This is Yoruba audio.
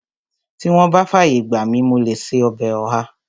Tí wọ́n bá fàyè gbà mi, mo lè ṣe ọbẹ̀ ọ̀há